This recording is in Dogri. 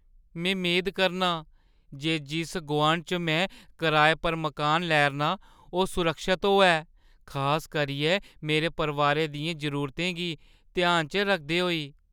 में मेद करनां जे जिस गोआंढै च में कराए पर मकान लै 'रना आं ओह् सुरक्खत होऐ, खास करियै मेरे परोआरै दियें जरूरतें गी ध्यानै च रखदे होई।